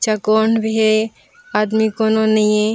चकोण भी हे आदमी कोनो नइ हे।